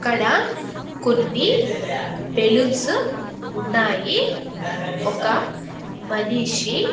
ఇక్కడ కొన్ని బెలూన్సు ఉన్నాయి ఒక మనిషి--